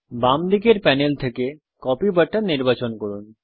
বাম দিকের প্যানেল থেকে কপি বাটন নির্বাচন করুন